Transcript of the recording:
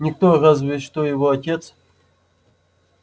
никто разве что его отец